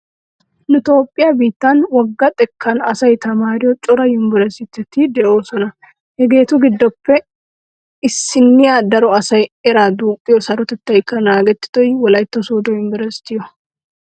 Nu toophphiya biittani wogga xekkan asay tamaariyo cora yumbburustteti de'oosona. Hegeetu giddoppe issinniya daro asayi eraa duuqqiyo sarotettaykka naagettido wolaytta sooddo yumbberesttiyo.